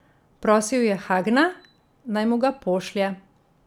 Prosil je Hagna, naj mu ga pošlje.